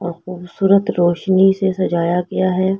और खूबसूरत रोशनी से सजाया गया है।